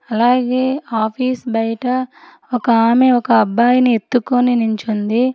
అలాగే ఆఫీస్ బయట ఒక ఆమె ఒక అబ్బాయిని ఎత్తుకొని నిల్చుంది.